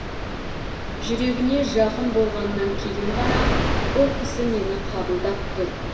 жүрегіне жақын болғаннан кейін ғана бұл кісі мені қабылдап тұр